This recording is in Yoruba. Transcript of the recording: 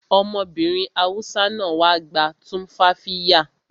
Ọmọbìnrin Hausa náà wá gba tumfafiya